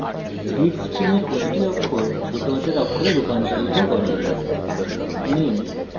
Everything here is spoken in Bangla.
এই statement greet string এর প্রতিটি অক্ষর ছোট হাতের অক্ষরে রূপান্তরিত করে